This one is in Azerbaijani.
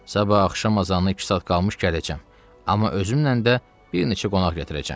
Sabah axşam azanı iki saat qalmış gələcəm, amma özümlə də bir neçə qonaq gətirəcəm.